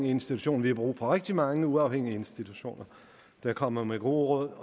institution vi har brug for rigtig mange uafhængige institutioner der kommer med gode